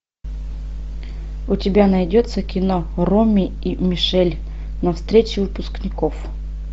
у тебя найдется кино роми и мишель на встрече выпускников